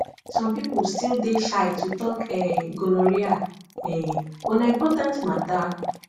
some people still dey shy to talk um gonorrhea um but na important matter